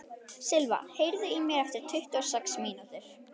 Silva, heyrðu í mér eftir tuttugu og sex mínútur.